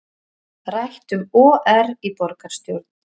Rætt um OR í borgarstjórn